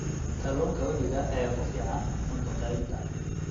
Kalluunka webiga ayaa ku fiican cunto karinta.